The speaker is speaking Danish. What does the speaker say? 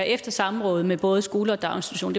efter samråd med både skole og daginstitution